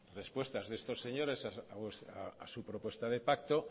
respuestas de estos señores a su propuesta de pacto